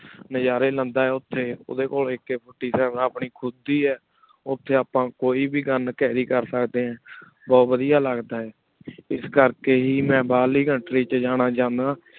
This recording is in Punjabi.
ਨਜ਼ਾਰੀ ਲੇੰਦਾ ਓਥੀ ਓਡੀ ਕੋਲ ਆਇਕ ਆ ਆਪਣੀ ਖੁਦ ਦੇ ਓਥੀ ਆਪਾਂ ਕੋਈ ਵੇ gun carry ਕਰ ਸਕਦੀ ਆਂ ਵਾਦਿਯ ਲਗਦਾ ਆਯ ਇਸ ਕਰ ਕ ਹੇ ਮੈਂ ਬਹਿਰ ਵਾਲੀ country ਵਿਚ ਜਾਣਾ ਚਾਹੰਦਾ